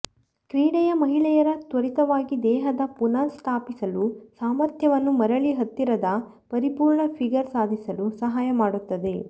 ಕ್ರೀಡೆಯ ಮಹಿಳೆಯರ ತ್ವರಿತವಾಗಿ ದೇಹದ ಪುನಃಸ್ಥಾಪಿಸಲು ಸಾಮರ್ಥ್ಯವನ್ನು ಮರಳಿ ಹತ್ತಿರದ ಪರಿಪೂರ್ಣ ಫಿಗರ್ ಸಾಧಿಸಲು ಸಹಾಯ ಮಾಡುತ್ತದೆ